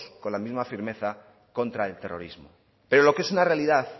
con misma firmeza contra el terrorismo pero lo que es una realidad